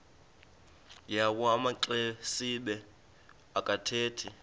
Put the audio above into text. yawo amaxesibe akathethi